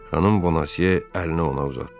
Xanım Bonasie əlini ona uzatdı.